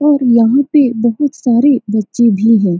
और यहाँ पे बहुत सारे बच्चे भी है।